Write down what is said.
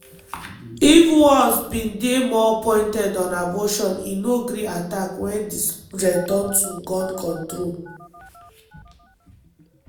if walz bin dey more pointed on abortion e no gree attack wen di subject turn to gun control.